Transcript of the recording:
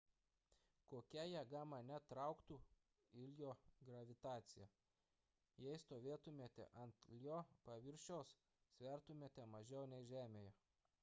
kokia jėga mane trauktų ijo gravitacija jei stovėtumėte ant ijo paviršiaus svertumėte mažiau nei žemėje